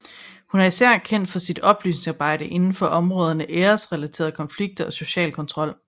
Hun er især kendt for sit oplysningsarbejde indenfor områderne æresrelaterede konflikter og social kontrol